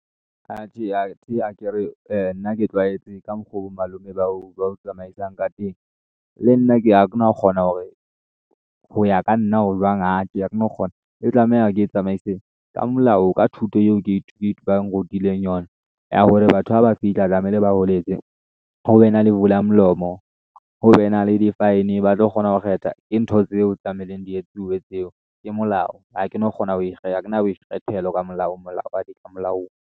Atjhe, akere nna ke tlwaetse ka mokgwa bo malome ba o tsamaisang ka teng, le nna a ke no kgona hore ho ya ka nna ho jwang. Ae ha ke no kgona e tlameha ke e tsamaiseng ka molao ka thuto e o ba nrutileng yona ya hore batho haba fihla tlamehile ba hweletse ho be na le vula-molomo ho be na le di-fine ba tlo kgona ho kgetha, ke ntho tseo tlamehileng di etsuwe tseo ke molao ha ke no kgona ho ha ke na boikgethelo ka molao .